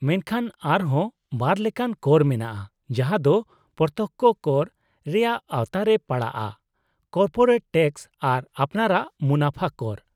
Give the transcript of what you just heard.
-ᱢᱮᱱᱠᱷᱟᱱ ᱟᱨ ᱦᱚᱸ ᱵᱟᱨ ᱞᱮᱠᱟᱱ ᱠᱚᱨ ᱢᱮᱱᱟᱜᱼᱟ ᱡᱟᱦᱟᱸ ᱫᱚ ᱯᱨᱚᱛᱛᱚᱠᱽᱠᱷᱚ ᱠᱚᱨ ᱨᱮᱭᱟᱜ ᱟᱣᱛᱟ ᱨᱮ ᱯᱟᱲᱟᱜᱼᱟ; ᱠᱚᱨᱯᱳᱨᱮᱴ ᱴᱮᱠᱥ ᱟᱨ ᱟᱯᱱᱟᱨᱟᱜ ᱢᱩᱱᱟᱹᱯᱷᱟ ᱠᱚᱨ ᱾